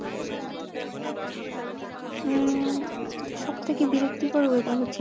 উম সবথেকে বিরক্তিকর weather হচ্ছে